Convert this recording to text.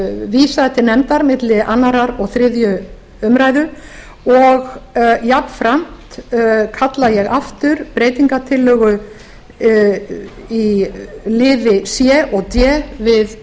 vísað til nefndar milli annars og þriðju umræðu og jafnframt kalla ég aftur breytingartillögu í liði c og d við